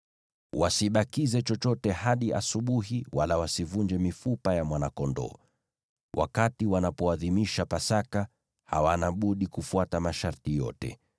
Wasibakize chochote hadi asubuhi wala wasivunje mifupa ya mwana-kondoo. Wakati wanapoadhimisha Pasaka, hawana budi kufuata masharti yote.